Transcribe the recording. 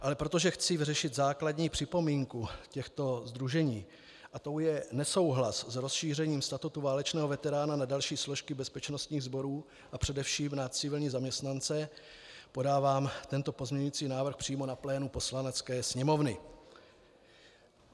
Ale protože chci vyřešit základní připomínku těchto sdružení a tou je nesouhlas s rozšířením statutu válečného veterána na další složky bezpečnostních sborů a především na civilní zaměstnance, podávám tento pozměňující návrh přímo na plénu Poslanecké sněmovny.